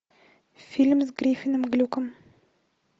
фильм с гриффином глюком